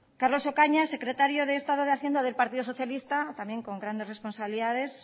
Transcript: carlos ocaña secretario de estado de hacienda del partido socialista también con grandes responsabilidades